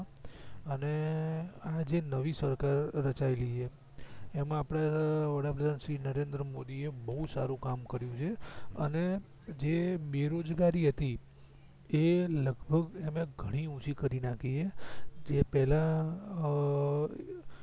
એમાં આપડા વડાપ્રધાન શ્રી નરેન્દ્ર મોદી એ બહુ સારું કામ કરીયું છે અને જે બેરોજગારી હતી તે લગભગ ઘણી ઓછી કરી નાખી છે જે અં